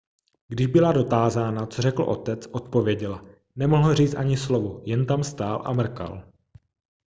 když byla dotázána co řekl otec odpověděla nemohl říct ani slovo jen tam stál a mrkal